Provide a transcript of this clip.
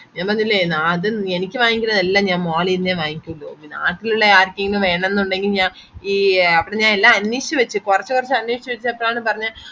എന്തന്നില്ലേ നാട് എനിക്ക് വാങ്ങിക്കാണത് എല്ലാം mall ന്നെ വാങ്ങിക്കുള്ളു പിന്നെ നാട്ടിലുള്ള ആർക്കേലും വെണംന്ന് ഒണ്ടങ്കി ഞാൻ ഈ അവിടെ എല്ല് ഞാൻ അന്വേഷിച് വച്ച് കൊറച്ചൊക്കെ അന്വേഷിചിട്ടാണ് പറഞ്ഞെ